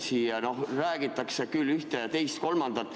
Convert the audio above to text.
Siin räägitakse küll ühte, teist ja kolmandat.